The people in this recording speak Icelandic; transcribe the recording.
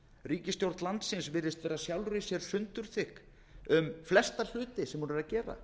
ríkisstjórn landsins virðist vera sjálfri sér sundurþykk um flesta hluti sem hún er að gera